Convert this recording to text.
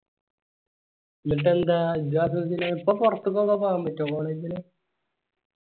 ന്നിട്ടന്താ ഇപ്പൊ പൊറത്തൊക്കെ പോകാൻ പറ്റോ college ഇല്